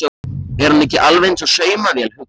Er hún ekki alveg eins og saumavél, hugsaði það.